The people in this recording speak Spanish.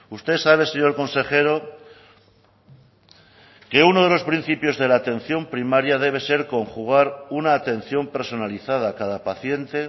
usted sabe señor consejero que uno de los principios de la atención primaria debe ser conjugar una atención personalizada cada paciente